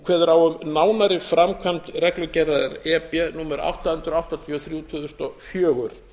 kveður á um nánari framkvæmd reglugerðar e b númer átta hundruð áttatíu og þrjú tvö þúsund og fjögur